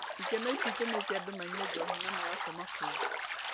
Ikeno ici itũmĩte andũ manyue njohi na magakoma kũu.